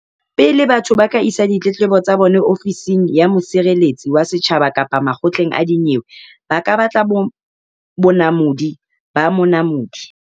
Pele batho ba ka isa ditletlebo tsa bona Ofising ya Mosireletsi wa Setjhaba kapa makgotleng a dinyewe ba ka batla bonamodi ba Monamodi.